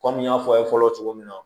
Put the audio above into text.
Kɔmi n y'a fɔ a ye fɔlɔ cogo min na